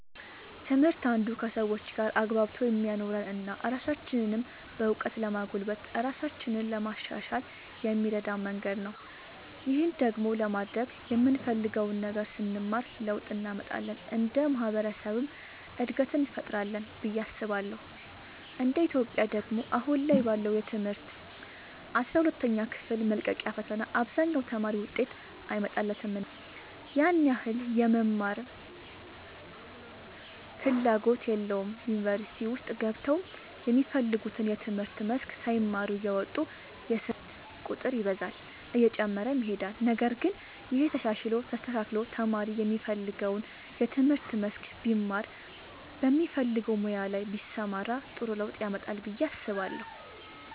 ትምህርት አንዱ ከሰዎች ጋር አግባብቶ የሚያኖረን እና ራሳችንንም በእውቀት ለማጎልበት ራሳችንን ለማሻሻል የሚረዳን መንገድ ነው። ይህን ደግሞ ለማድረግ የምንፈልገውን ነገር ስንማር ለውጥ እንመጣለን እንደ ማህበረሰብም እድገትን እንፈጥራለን ብዬ አስባለሁ እንደ ኢትዮጵያ ደግሞ አሁን ላይ ባለው የትምህርት ስርዓት አስራ ሁለተኛ ክፍል መልቀቂያ ፈተና አብዛኛው ተማሪ ውጤት አይመጣለትምና ያን ያህል የመማርም ፍላጎት የለውም ዩኒቨርሲቲ ውስጥ ገብተውም የሚፈልጉትን የትምህርት መስክ ሳይማሩ እየወጡ የስርዓት ቁጥር ይበዛል እየጨመረም ይሄዳል ነገር ግን ይሄ ተሻሽሎ ተስተካክሎ ተማሪ የሚፈልገውን የትምህርት መስክ ቢማር በሚፈልገው ሙያ ላይ ቢሰማራ ጥሩ ለውጥ ያመጣል ብዬ አስባለሁ።